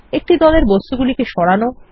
একটি দলের বস্তুগুলিকে সরান